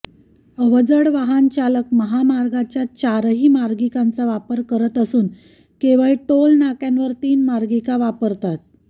अवजड वाहन चालक महामार्गाच्या चारही मार्गिकांचा वापर करत असून केवळ टोलनाक्यांवर तीन मार्गिका वापरतात